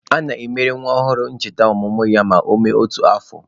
A na-emere nwa ọhụrụ ncheta ọmụmụ ya ma ọ mee otu afọ.